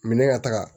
Minɛn ka taga